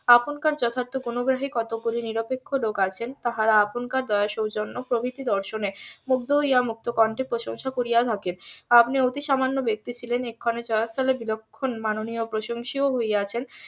আপনকার যথার্থ কোন গ্রহের কতগুলি নিরপেক্ষ লোক আছেন তাহারা আপনকার দয়ার সৌজন্য প্রভৃতি দর্শনে মুগ্ধ হইয়া মুক্ত কণ্ঠে প্রশংসা করিয়া থাকেন আপনি অতি সামান্য ব্যাক্তি ছিলেন এক্ষণে . বিলক্ষণ মাননীয় প্রশংসি ও হইয়াছেন